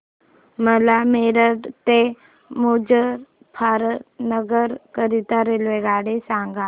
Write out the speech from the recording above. मला मेरठ ते मुजफ्फरनगर करीता रेल्वेगाडी सांगा